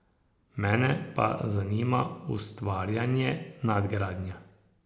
Mene pa zanima ustvarjanje, nadgradnja.